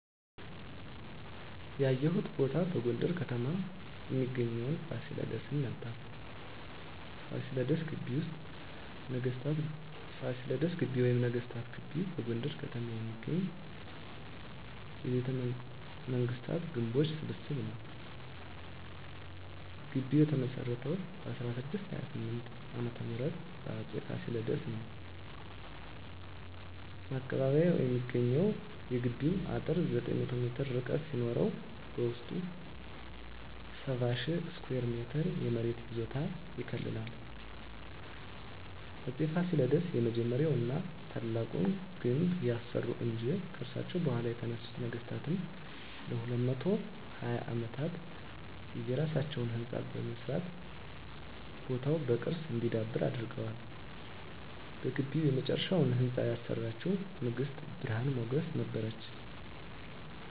ያየሁት ቦታ በጎንደር ከተማ እሚገኘዉን ፋሲለደስን ነበር። ፋሲለደስ ግቢ ወይም ነገስታት ግቢ በጎንደር ከተማ የሚገኝ የቤተመንግስታት ግምቦች ስብስብ ነዉ። ግቢዉ የተመሰረተዉ በ1628 ዓ.ም በአፄ ፋሲለደስ ነበር። ማቀባበያ የሚሰኘዉ የግቢዉ አጥር 900 ሜትር ርዝመት ሲኖረዉ በዉስጡ 70,000 ስኩየር ሜትር የመሬት ይዞታ ይከልላል። አፄ ፋሲለደስ የመጀመሪያዉን ና ታላቁን ግድብ ያሰሩ እንጂ፣ ከርሳቸዉ በኋላ የተነሱት ነገስታትም ለ220 አመታት የየራሳቸዉን ህንፃ በመስራት ቦታዉ በቅርስ እንዲዳብር አድርገዋል። በግቢዉ የመጨረሻዉን ህንፃ ያሰራችዉ ንግስት ብርሀን ሞገስ ነበረች።